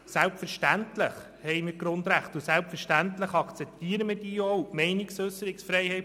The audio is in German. Selbstverständlich haben wir Grundrechte, und selbstverständlich akzeptieren wir diese auch.